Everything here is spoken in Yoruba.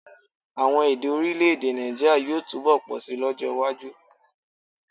Àwon èdè orílẹ̀-èdè Nàìjíírià yóò túbọ̀ pọ̀ síi lọ́jọ́ iwájú